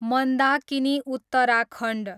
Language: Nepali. मन्दाकिनी, उत्तराखण्ड